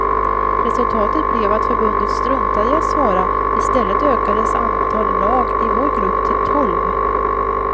Resultatet blev att förbundet struntade i att svara, i stället ökades antal lag i vår grupp till tolv.